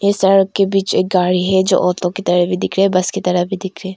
इस सड़क के बीच एक गाड़ी है जो ऑटो की तरह भी दिख रहे बस की तरह भी दिख रहे--